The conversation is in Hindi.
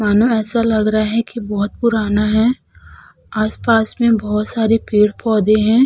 माना ऐसा लग रहा है कि बोहत पुराना है। आस-पास में बोहत सारे पेड़ पौधे हैं।